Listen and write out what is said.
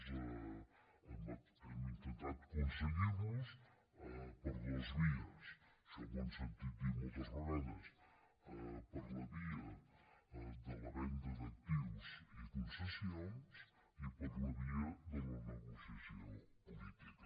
hem intentat aconseguirlos per dos vies això m’ho han sentit dir moltes vegades per la via de la venda d’actius i concessions i per la via de la negociació política